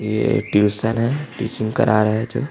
ये ट्यूशन है टीचिंग करा रहै है जो --